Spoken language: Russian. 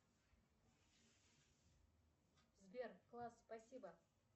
сбер класс спасибо